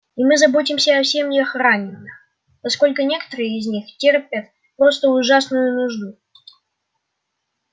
и мы заботимся о семьях раненых поскольку некоторые из них терпят просто ужасную нужду